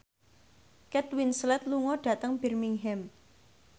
Kate Winslet lunga dhateng Birmingham